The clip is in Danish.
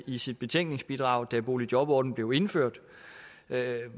i sit betænkningsbidrag da boligjobordningen blev indført